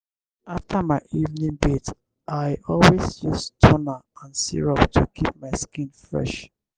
after my evening bath i always use toner and serum to keep my skin fresh.